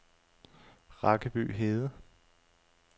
Rakkeby Hede